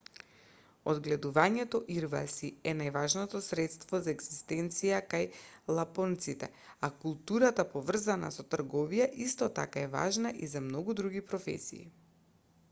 одгледувањето ирваси е најважното средство за егзистенција кај лапонците а културата поврзана со трговија исто така е важна и за многу други професии